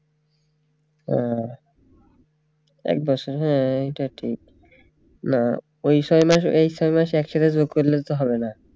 হ্যাঁ এক বছর হ্যাঁ এইটা ঠিক না ওই ছয় মাস এই ছয় মাস একসাথে যোগ করলে তো হবে না